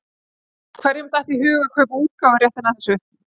Hverjum datt í hug að kaupa útgáfuréttinn að þessu?